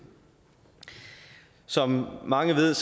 som mange ved